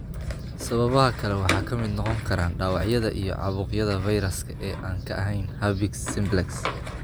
Sababaha kale waxaa ka mid noqon kara dhaawacyada iyo caabuqyada fayraska ee aan ka ahayn herpes simplex.